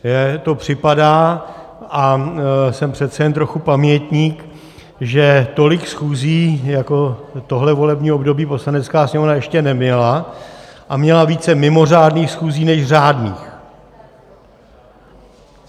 Mně to připadá, a jsem přece jen trochu pamětník, že tolik schůzí jako tohle volební období Poslanecká sněmovna ještě neměla, a měla více mimořádných schůzí než řádných.